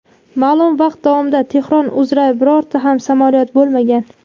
ma’lum vaqt davomida Tehron uzra birorta ham samolyot bo‘lmagan.